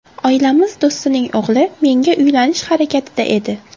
Oilamiz do‘stining o‘g‘li menga uylanish harakatida edi.